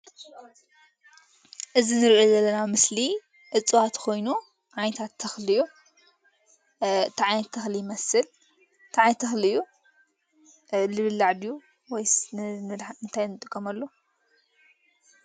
እዚ እንሪኦ ዘለና ምስሊ እፅዋት ኮይኑ ዓይነታት ተክሊ እዩ፡፡ እንታይ ዓይነት ተክሊ ይመስል? እንታይ ዓይነት ተክሊ እዩ ዝብላዕ ድዩ ወይስ ንምንታይ ንጥቀመሉ?